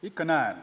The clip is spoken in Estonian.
Ikka näen.